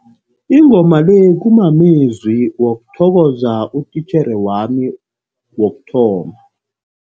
Ingoma le kumamezwi wokuthokoza utitjhere wami wokuthoma.